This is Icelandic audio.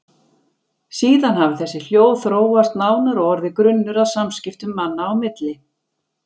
Síðan hafi þessi hljóð þróast nánar og orðið grunnur að samskiptum manna á milli.